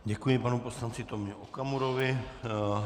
Děkuji panu poslanci Tomio Okamurovi.